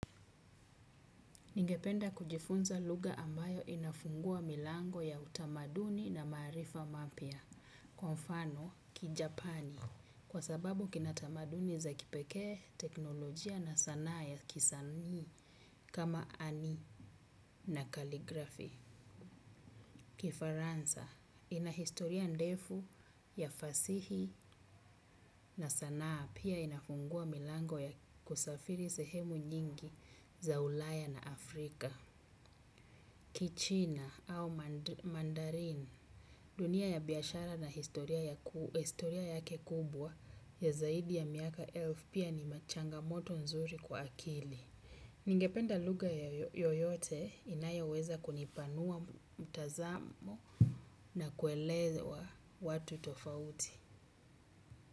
Ningependa kujifunza lugha ambayo inafungua milango ya utamaduni na maarifa mapya, kwa mfano kijapani, kwa sababu kinatamaduni za kipekee teknolojia na sanaa ya kisanii kama ani na kaligrafi. Kifaransa, inahistoria ndefu ya fasihi na sanaa pia inafungua milango ya kusafiri sehemu nyingi za ulaya na Afrika. Kichina au mandarin dunia ya biashara na historia yake kubwa ya zaidi ya miaka elfu pia ni machanga moto nzuri kwa akili. Ningependa lugha yoyote inayo weza kunipanua mtazamo na kuelewa watu tofauti.